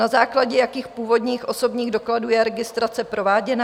Na základě jakých původních osobních dokladů je registrace prováděna?